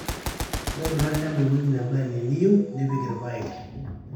ntobirra olchamba ewueji neba eniyieu nipik irpaek